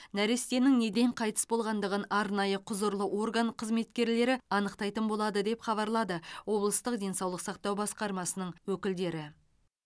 нәрестенің неден қайтыс болғандығын арнайы құзырлы орган қызметкерлері анықтайтын болады деп хабарлады облыстық денсаулық сақтау басқармасының өкілдері